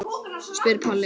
spyr Palli.